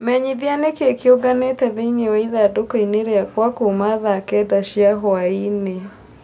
Menyithia nĩkĩĩ kĩunganite thĩinĩ wa ĩthandũkũinĩ rĩakwa kuuma thaa kenda cia hwaĩ-inĩ